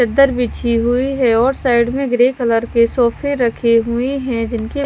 चदर बिछी हुई हैऔर सर में ग्रे कलर के सोफे रखे हुए हैजिनके।